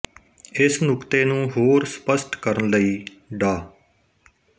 ਇਸ ਨੁਕਤੇ ਨੂੰ ਹੋਰ ਸਪਸ਼ਟ ਕਰਨ ਲਈ ਡਾ